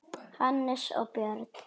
Hannes og Björn.